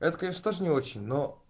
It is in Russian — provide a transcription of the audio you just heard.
это конечно тоже не очень но